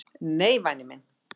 """Nei, væni minn."""